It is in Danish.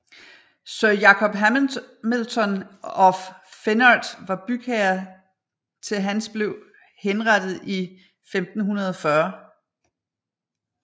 Sir Jakob Hamilton of Finnart var bygherre til hans blev henrettet i 1540